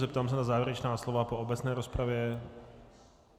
Zeptám se na závěrečná slova po obecné rozpravě.